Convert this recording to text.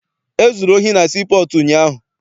E zuru ohi na sii pọọtụ ụnyaahụ.